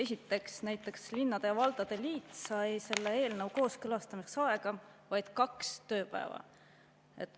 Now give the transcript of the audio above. Esiteks, näiteks linnade ja valdade liit sai selle eelnõu kooskõlastamiseks aega vaid kaks tööpäeva.